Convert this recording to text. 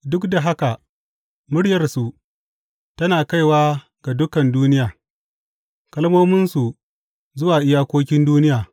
Duk da haka muryarsu tana kaiwa ga dukan duniya, kalmominsu zuwa iyakokin duniya.